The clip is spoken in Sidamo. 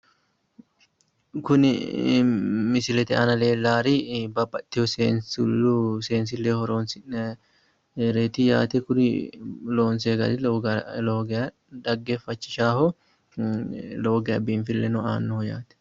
kuni misilete aana leellaari babbaxxeyo seensilleho horoonsi'nayireeti yaate kuri loonsoye gari lowo geya xaggeeffachishaaho lowo geya biinfileno aannoho yaate.